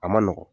A ma nɔgɔn